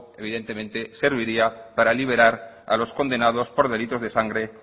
evidentemente serviría para liberar a los condenados por delitos de sangre